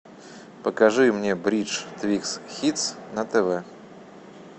покажи мне бридж твикс хитс на тв